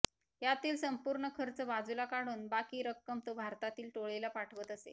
यातील संपूर्ण खर्च बाजूला काढून बाकी रक्कम तो भारतातील टोळीला पाठवत असे